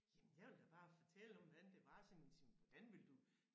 Jamen jeg vil da bare fortælle om hvordan det var siger men siger men hvordan vil du